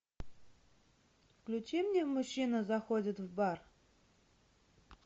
включи мне мужчина заходит в бар